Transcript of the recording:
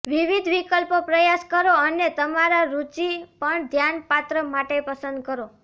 વિવિધ વિકલ્પો પ્રયાસ કરો અને તમારા રુચિ પણ ધ્યાનપાત્ર માટે પસંદ કરો